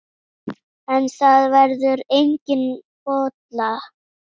En það verður engin bolla.